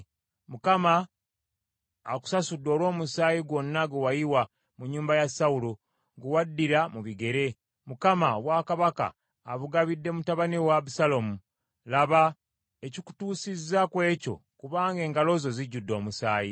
Mukama akusasudde olw’omusaayi gwonna gwe wayiwa mu nnyumba ya Sawulo, gwe waddira mu bigere. Mukama obwakabaka abugabidde mutabani wo Abusaalomu. Laba ekikutuusizza kw’ekyo, kubanga engalo zo zijjudde omusaayi!”